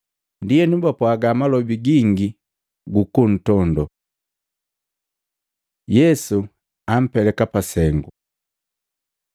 Ndienu bapwaaga malobi gingi gukuntondoo. Yesu ampeleka pa sengu Matei 26:59-66; Maluko 14:55-64; Yohana 18:19-24